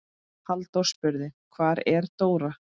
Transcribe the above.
Halldór spurði: Hvar er Dóra?